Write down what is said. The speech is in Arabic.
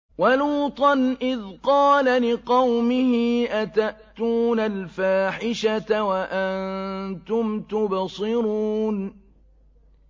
وَلُوطًا إِذْ قَالَ لِقَوْمِهِ أَتَأْتُونَ الْفَاحِشَةَ وَأَنتُمْ تُبْصِرُونَ